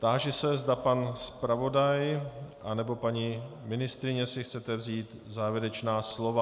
Táži se, zda pan zpravodaj anebo paní ministryně si chcete vzít závěrečná slova.